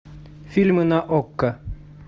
фильмы на окко